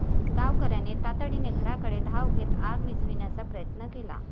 गावकऱ्यांनी तातडीने घराकडे धाव घेत आग विझविण्याचा प्रयत्न केला.